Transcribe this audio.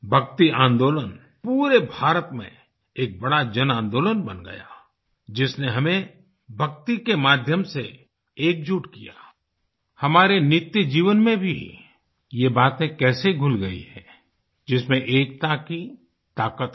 भक्ति आन्दोलन पूरे भारत में एक बड़ा जनआन्दोलन बन गया जिसने हमें भक्ति के माध्यम से एकजुट किया आई हमारे नित्य जीवन में भी ये बातें कैसे घुल गयी हैं जिसमें एकता की ताकत है